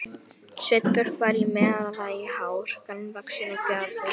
Sveinbjörn var í meðallagi hár, grannvaxinn og fjaður